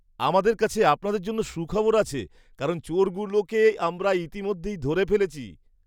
আমাদের কাছে আপনাদের জন্য সুখবর আছে কারণ চোরগুলোকে আমরা ইতিমধ্যেই ধরে ফেলেছি।